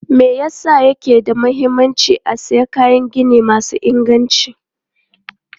Me yasa yake da mahimmanci a sayi kayan gini masu inganci?